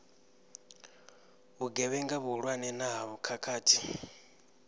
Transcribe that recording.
vhugevhenga vhuhulwane na ha khakhathi